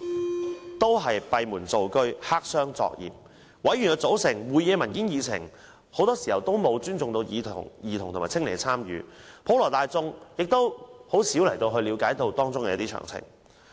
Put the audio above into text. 也是閉門造車、黑箱作業，有關委員的組成、會議的文件和議程很多時候也沒有尊重兒童和青年的參與，普羅大眾亦難以了解當中詳情。